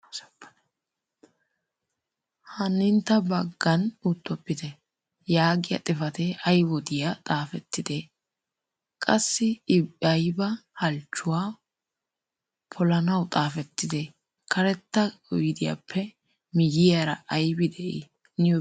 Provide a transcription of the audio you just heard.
Hanintta hagan uttopite! Yaagiya xafatee ay wodiya. Xaafetidee? Qassi I aybba halchchuwa pollanaw xaafettide? Karetta oydiyappe miyyiyaara aybbi de'ii? Niyo beetti?